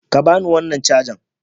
Ka ba ni wannan caja!